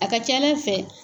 A ka ca ala fɛ